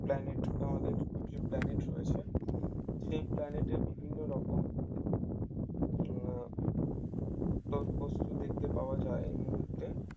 planet আমাদের যে planet রয়েছে সেই planet এর বিভিন্ন রকম আহ বস্তু দেখতে পাওয়া যায় এই মুহূর্তে